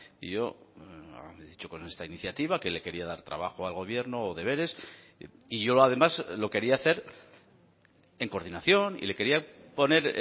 y yo he dicho con esta iniciativa que le quería dar trabajo al gobierno o deberes y yo además lo quería hacer en coordinación y le quería poner